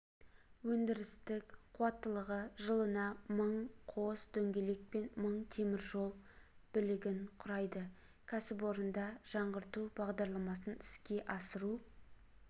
өндірістік қуаттылығы жылына мың қос дөңгелек пен мың теміржол білігін құрайды кәсіпорында жаңғырту бағдарламасын іске асыру